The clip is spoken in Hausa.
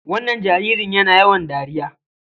Wannan jaririn yana yawan dariya.